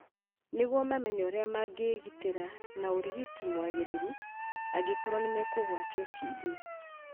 nĩguo mamenye ũrĩa mangĩĩgitĩra na ũrigiti mwagĩrĩru angĩkorũo nĩ mekũgwatio TB.